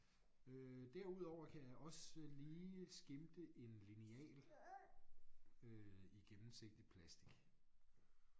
Øh derudover kan jeg også lige skimte en lineal øh i gennemsigtig plastic